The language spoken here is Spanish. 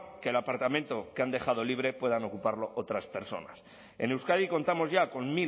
que el apartamento que han dejado libre puedan ocuparlo otras personas en euskadi contamos ya con